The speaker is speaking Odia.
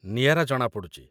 ନିଆରା ଜଣାପଡ଼ୁଚି ।